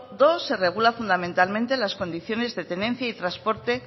segundo se regula fundamentalmente las condiciones de tenencia y transporte